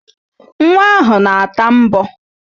Nwa ahụ na-ata mbọ